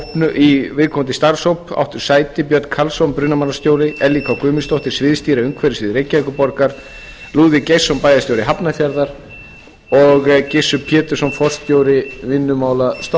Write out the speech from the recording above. í viðkomandi starfshóp áttu sæti björn karlsson brunamálastjóri ellý k guðmundsdóttir sviðsstýra umhverfissviðs reykjavíkurborgar lúðvík geirsson bæjarstjóri hafnarfjarðar og gissur pétursson forstjóri vinnumálastofnunar